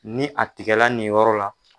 Ni a tigɛla nin yɔrɔ la.